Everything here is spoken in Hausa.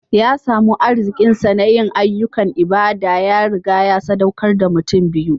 Ya samu arziƙinsa na yin ayyukan ibada; ya riga ya saɗaukar da mutum biyu.